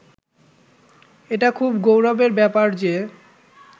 এটা খুব গৌরবের ব্যাপার যে